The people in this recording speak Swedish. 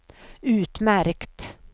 utmärkt